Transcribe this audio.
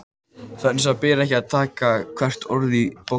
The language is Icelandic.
Þess vegna ber ekki að taka hvert orð í því bókstaflega.